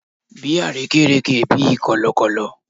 Bi arekereke bi kọlọkọlọ